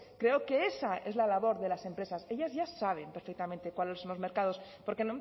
creo que esa es la labor de las empresas ellas ya saben perfectamente cuáles son los mercados porque